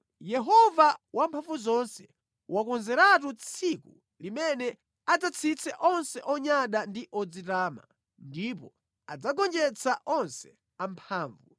Yehova Wamphamvuzonse wakonzeratu tsiku limene adzatsitse onse onyada ndi odzitama, ndipo adzagonjetsa onse amphamvu,